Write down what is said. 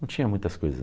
Não tinha muitas coisas.